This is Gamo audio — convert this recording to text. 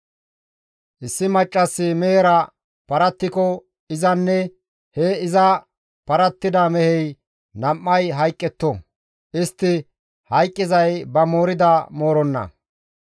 « ‹Issi maccassi mehera paratikko izanne he iza parattida mehey nam7ay hayqqetto; istti hayqqizay ba moorida mooronna.